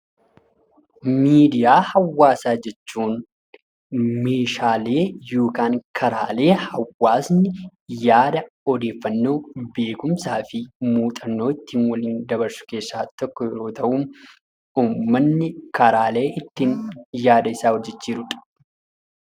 Miidiyaalee hawaasaa jechuun karaalee hawaasni yaada, odeeffannoo , beekkumsaa fi muuxannoo ittiin waliif dabarsu keessaa tokko yoo ta'u miidiyaan karaalee hawaasni yaada isaa waliif dabarsudha.